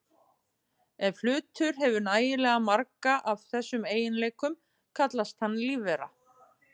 Ef hlutur hefur nægilega marga af þessum eiginleikum kallast hann lífvera.